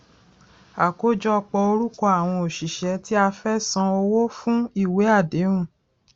àkójọpọ orúkọ àwọn òṣìṣẹ tí a fẹ san owó fún ìwé àdéhùn